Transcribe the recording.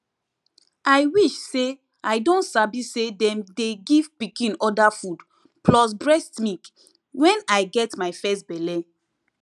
i wish say i don sabi say them dey give pikin other food plus breast milk when i get my first belle